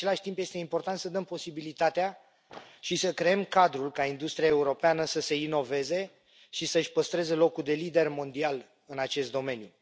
În același timp, este important să dăm posibilitatea și să creăm cadrul ca industria europeană să se inoveze și să își păstreze locul de lider mondial în acest domeniu.